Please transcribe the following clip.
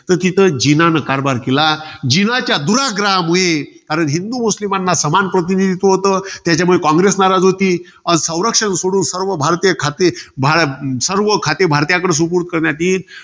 तर तिथं जीनाने, कारभार केला. जिनाच्या दुर्ग्राहामुळे. कारण, हिंदू मुस्लिमांना समान प्रतिनिधित्व होतं. त्याच्यामुळे कॉंग्रेस नाराज होती. संरक्षण सोडून सर्व भारतीय खाते, सर्व खाते भारतीयाकडे सुपूर्त करण्यात येईल.